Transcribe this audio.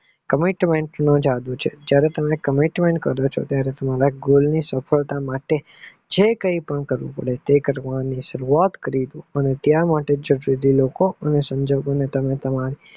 commitment નો જાદુ છે જયારે તમે commentment કરો છો ત્યારે તમારા goal ની સફળતા માટે જે કઈ નકારવું પડે તે કરવાની શરૂઆત કરી પણ ત્યાં માટે જરૂરી લોકો સંજોગો ને તમે તમારી